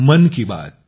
AIRShilpa PCY